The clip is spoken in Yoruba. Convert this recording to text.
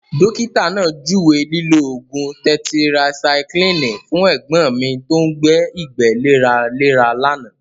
Dókítà náà juwe lilo oogun tẹtirasyclini fún ẹ̀gbọ́n mi tó ń gbé ìgbẹ́ léraléra lánàá.